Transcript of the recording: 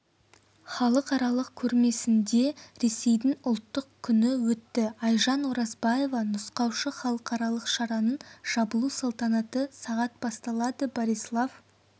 халықаралық көрмесінде ресейдің ұлттық күні өтті айжан оразбаева нұсқаушы халықаралық шараның жабылу салтанаты сағат басталады борислав